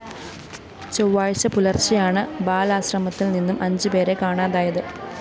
ചൊവ്വാഴ്ച്ച പുലര്‍ച്ചെയാണ് ബാലാശ്രമത്തില്‍ നിന്നും അഞ്ച് പേരെ കാണാതായത്